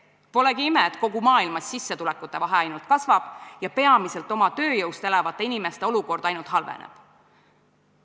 Pole ime, et kogu maailmas sissetulekute vahe ainult kasvab ja peamiselt oma tööjõust elavate inimeste olukord ainult halveneb.